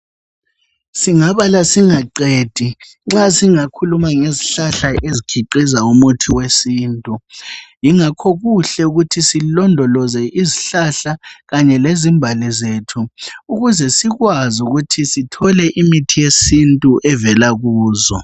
Singabala singaqedi nxa singakhuluma ngezihlahla ezikhiqiza umuthi wesintu, yingakho kuhle ukuthi silondoloze izihlahla, kanye lezimbali zethu ukuze sikwazi ukuthi Sithole imithi yesintu evela kuzo.